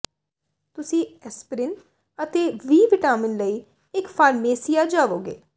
ਤੁਸੀਂ ਐਸਪਰੀਨ ਅਤੇ ਵੀ ਵਿਟਾਮਿਨ ਲਈ ਇੱਕ ਫਾਰਮੇਸੀਆ ਜਾਵੋਗੇ